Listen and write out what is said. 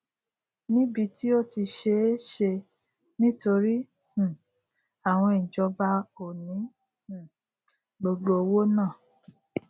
níbí tí ó ti ṣé e ṣe nítorí um àwọn ìjọba ò ní um gbogbo owó náà